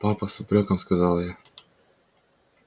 папа с упрёком сказала я